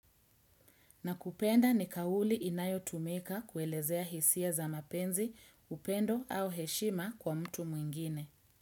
Nakupenda ni kauli inayotumika kuelezea hisia za mapenzi, upendo au heshima kwa mtu mwingine.